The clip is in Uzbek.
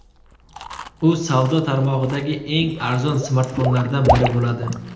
U savdo tarmog‘idagi eng arzon smartfonlardan biri bo‘ladi.